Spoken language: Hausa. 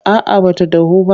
A'a ba ta dahu ba.